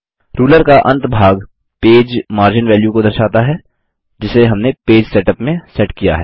ruler का अंतभाग page margin value को दर्शाता है जिसे हमने पेज सेटअप में सेट किया है